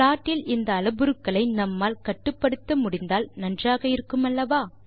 ப்லாட்டில் இந்த அளபுருக்களை நம்மால் கட்டுப்படுத்த முடிந்தால் நன்றாக இருக்குமல்லவா